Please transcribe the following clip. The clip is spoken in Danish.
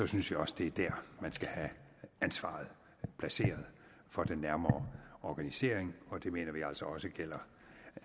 synes jeg også det er der man skal have ansvaret placeret for den nærmere organisering og det mener vi altså også gælder